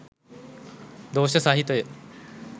දෝෂ සහිතය.